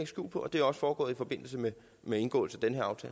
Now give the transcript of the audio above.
skjul på og det er også foregået i forbindelse med med indgåelsen